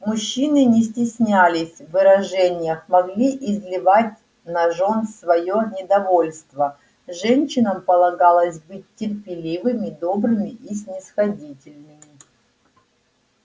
мужчины не стеснялись в выражениях могли изливать на жён своё недовольство женщинам полагалось быть терпеливыми добрыми и снисходительными